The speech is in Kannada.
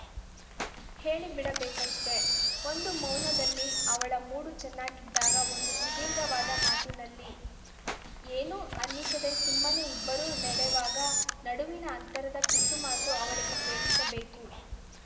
ಹೇಳಿಬಿಡಬೇಕಷ್ಟೆ ಒಂದು ಮೌನದಲ್ಲಿ ಅವಳ ಮೂಡು ಚೆನ್ನಾಗಿದ್ದಾಗ ಒಂದು ಸುದೀರ್ಘವಾದ ಮಾತಿನಲ್ಲಿ ಏನೂ ಅನ್ನಿಸದೇ ಸುಮ್ಮನೆ ಇಬ್ಬರೂ ನೆಡೆವಾಗ ನಡುವಿನ ಅಂತರದ ಪಿಸುಮಾತು ಅವಳಿಗೆ ಕೇಳಿಸಬೇಕು